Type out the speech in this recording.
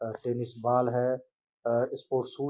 अ tennis ball है। A sports shoe --